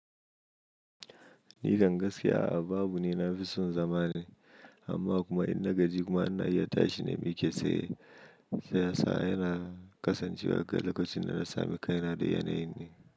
Ni kan gaskiya a'a babu ni na fi son zama ne, amma kuma in na gaji kuma ina iya tashi na miƙe tsaye. Shiyasa yana kasancewa ga lokacin da na sami kaina da yanayin ne.